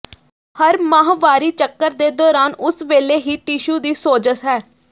ਹਰ ਮਾਹਵਾਰੀ ਚੱਕਰ ਦੇ ਦੌਰਾਨ ਉਸ ਵੇਲੇ ਹੀ ਟਿਸ਼ੂ ਦੀ ਸੋਜ਼ਸ਼ ਹੈ